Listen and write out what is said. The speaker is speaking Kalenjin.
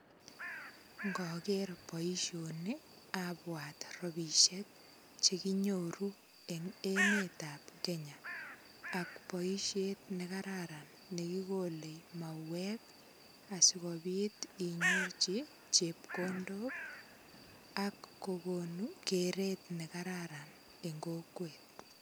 Ngoger boisioni abwat rapisiek che kinyoru eng emetab Kenya ak boisiet nekararan nekikole mauwek asikopit inyorchi chepkondok ak kogonu keret nekararan en kokwet.